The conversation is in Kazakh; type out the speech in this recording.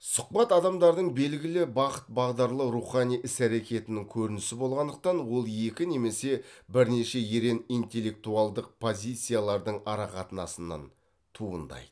сұхбат адамдардың белгілі бағыт бағдарлы рухани іс әрекетінің көрінісі болғандықтан ол екі немесе бірнеше ерен интеллектуалдық позициялардың ара қатынасынан туындайды